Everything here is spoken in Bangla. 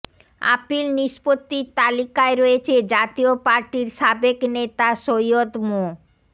আপিল নিষ্পত্তির তালিকায় রয়েছে জাতীয় পার্টির সাবেক নেতা সৈয়দ মো